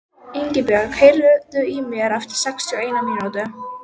Ingibjört, heyrðu í mér eftir sextíu og eina mínútur.